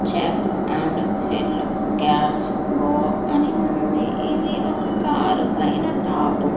Check and fill gas go అని ఉంది ఇది ఒక కారు పైన టాప్ .